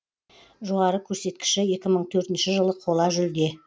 жоғары көрсеткіші екі мың төртінші жылы қола жүлде